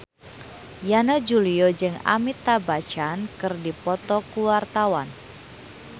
Yana Julio jeung Amitabh Bachchan keur dipoto ku wartawan